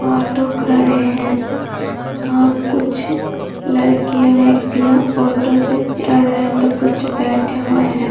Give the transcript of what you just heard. Auto खड़े हैं और कुछ लड़के व्यक्तियाँ ऑटो से चढ़ रहे हैं तो कुछ बैठे हुए हैं।